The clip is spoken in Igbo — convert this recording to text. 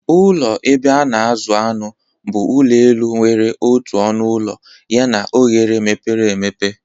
Ụlọ ebe a na-azụ anụ bụ ụlọ elu nwere otu ọnụ ụlọ Yana oghere mepere emepe.